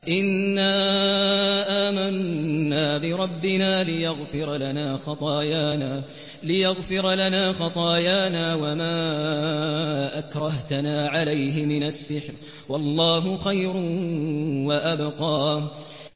إِنَّا آمَنَّا بِرَبِّنَا لِيَغْفِرَ لَنَا خَطَايَانَا وَمَا أَكْرَهْتَنَا عَلَيْهِ مِنَ السِّحْرِ ۗ وَاللَّهُ خَيْرٌ وَأَبْقَىٰ